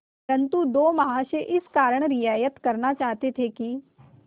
परंतु दो महाशय इस कारण रियायत करना चाहते थे कि